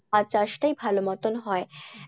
চা চাষ টাই ভালো মতন হয়